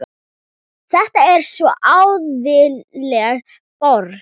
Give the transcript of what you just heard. Þetta er svo æðisleg borg.